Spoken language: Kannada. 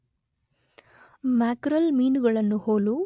ಮ್ಯಾಕರಲ್ ಮೀನುಗಳನ್ನು ಹೋಲು